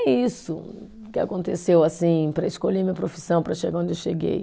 É isso que aconteceu, assim, para escolher minha profissão, para chegar onde eu cheguei.